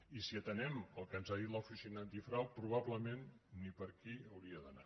i si atenem el que ens ha dit l’oficina antifrau probablement ni per aquí hauria d’anar